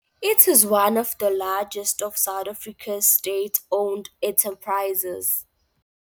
It is one of the largest of South Africa's state-owned enterprises.